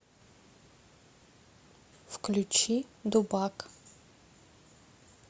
включи дубак